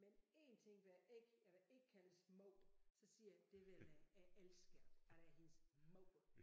Men én ting vil jeg ikke jeg vil ikke kaldes mor så siger jeg det vil jeg jeg elsker alle hendes mor